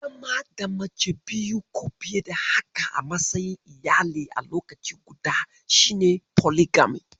Zama da mace biyu ko fiye da haka a matsayin iyali a lokaci guda, shi ne polygamy.